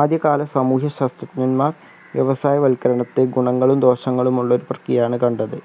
ആദ്യകാല സമൂഹ്യ ശാസ്ത്രജ്ഞന്മാർ വ്യവസായവൽകരണത്തെ ഗുണങ്ങളും ദോഷങ്ങളുമുള്ള ഒരു പ്രക്യയാണ് കണ്ടത്